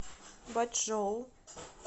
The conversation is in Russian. бочжоу